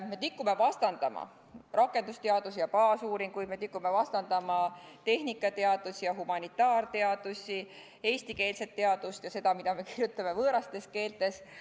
Me tikume vastandama rakendusteadusi ja baasuuringuid, me tikume vastandama tehnikateadusi ja humanitaarteadusi, eestikeelset teadust ja seda, mida me kirjutame võõrkeeltes.